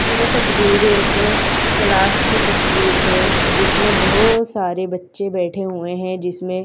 जे तस्वीर एक क्लास की तस्वीर है जिसमें बहोत सारे बच्चे बैठे हुए हैं जिसमें--